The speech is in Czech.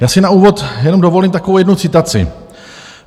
Já si na úvod jenom dovolím takovou jednu citaci.